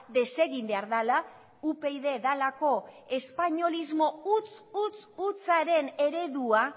desegin behar dela upyd dalako espainolismo huts hutsaren eredua